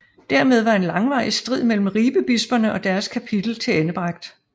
Dermed var en langvarig strid mellem Ribebisperne og deres kapitel tilendebragt